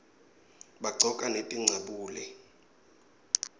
baqcoka netincabule